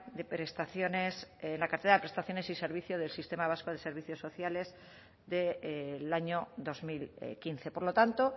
de prestaciones en la cartera de prestaciones y servicios del sistema vasco de servicios sociales del año dos mil quince por lo tanto